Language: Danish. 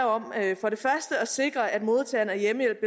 om at sikre at modtageren af hjemmehjælp